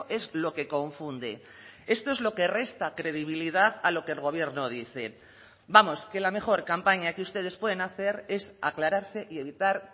es lo que confunde esto es lo que resta credibilidad a lo que el gobierno dice vamos que la mejor campaña que ustedes pueden hacer es aclararse y evitar